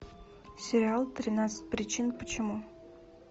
сериал тринадцать причин почему